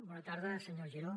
bona tarda senyor giró